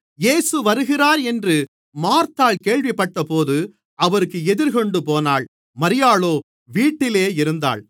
இயேசு வருகிறார் என்று மார்த்தாள் கேள்விப்பட்டபோது அவருக்கு எதிர்கொண்டு போனாள் மரியாளோ வீட்டிலே இருந்தாள்